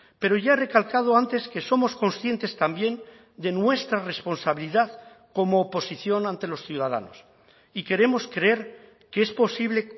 pero ya he recalcado antes que somos conscientes también de nuestra responsabilidad como oposición ante los ciudadanos y queremos creer que es posible